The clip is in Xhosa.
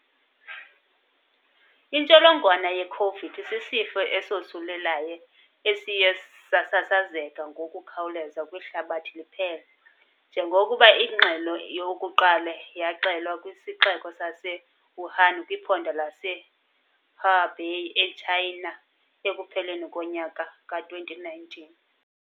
Intsholongwane ye Khovidi sisifo esosulelayo esiye sasasazeka ngokukhawuleza kwihlabathi liphela njengokuba ingxelo yokuqala yaxelwa kwisixeko saseWuhan kwiphondo lase-Hubei e-Tshayina ekupheleni konyaka ka-2019.